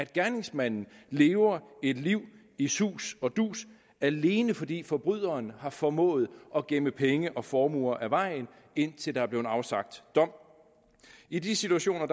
gerningsmanden lever et liv i sus og dus alene fordi forbryderen har formået at gemme penge og formuer af vejen indtil der er blevet afsagt dom i de situationer